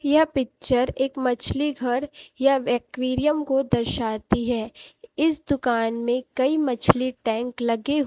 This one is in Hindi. यह पिक्चर एक मछली घर या एक्वेरियम को दर्शाती है इस दुकान में कई मछली टैंक लगे--